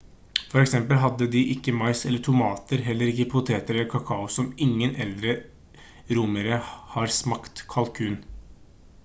for eksempel hadde de ikke mais eller tomater heller ikke poteter eller kakao og ingen eldre romere har smakt kalkun